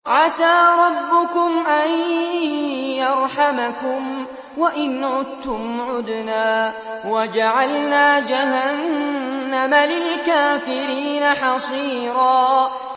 عَسَىٰ رَبُّكُمْ أَن يَرْحَمَكُمْ ۚ وَإِنْ عُدتُّمْ عُدْنَا ۘ وَجَعَلْنَا جَهَنَّمَ لِلْكَافِرِينَ حَصِيرًا